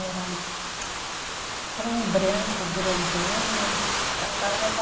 Era tsci (estalo com a língua entre os dentes) era um branco grandão, mas. A senhora lembra